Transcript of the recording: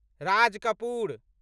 Raj Kapoor